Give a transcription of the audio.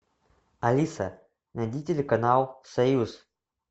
алиса найди телеканал союз